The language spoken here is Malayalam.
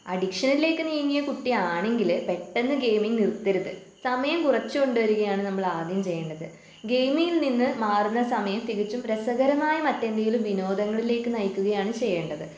അഡിക്ഷനിലേക്ക് നീങ്ങിയ കുട്ടി ആണെങ്കില് പെട്ടെന്ന് ഗെയിമിംഗ് നിർത്തരുത്. സമയം കുറച്ചു കൊണ്ടുവരികയാണ് നമ്മൾ ആദ്യം ചെയ്യേണ്ടത് ഗെയിമിൽ നിന്ന് മാറുന്ന സമയം തികച്ചും രസകരമായ മറ്റെന്തെങ്കിലും വിനോദങ്ങളിലേക്ക് നയിക്കുകയാണ് ചെയ്യേണ്ടത്.